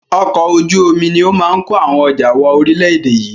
Ọkọ̀ ojú omi ni ó máa ń ko àwọn ọjà wọ ori ilẹ̀ èdè yìí